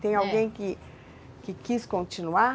Tem alguém que, que quis continuar?